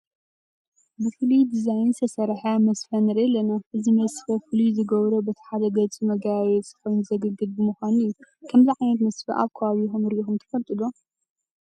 ብፍሉይ ዲዛን ዝተሰርሐ መስፈ ንርኢ ኣለና፡፡ እዚ መስፈ ፍሉይ ዝገብሮ በቲ ሓደ ገፁ መጋየፂ ኮይኑ ዘገልግል ብምዃኑ እዩ፡፡ ከምዚ ዓይነት መስፈ ኣብ ከባቢኹም ርኢኹም ትፈልጡ ዶ?